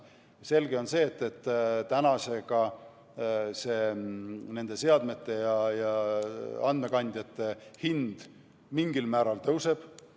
Selge on see, nende seadmete ja andmekandjate hind mingil määral tõuseb.